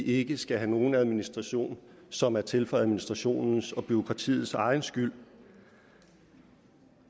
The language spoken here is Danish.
ikke skal have nogen administration som er til for administrationens og bureaukratiets egen skyld